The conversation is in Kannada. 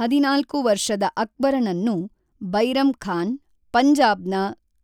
ಹದಿನಾಲ್ಕು ವರ್ಷದ ಅಕ್ಬರನನ್ನು, ಬೈರಮ್ ಖಾನ್ , ಪಂಜಾಬ್ ನ